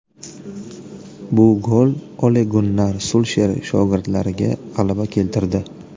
Bu gol Ole-Gunnar Sulsher shogirdlariga g‘alaba keltirdi.